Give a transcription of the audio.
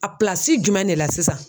A jumɛn de la sisan.